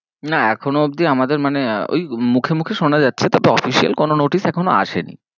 না এখনো অবধি আমাদের মানে ঐ মুখে মুখে শোনা যাচ্ছে তাতে official কোনো notice এখনো আসেনি।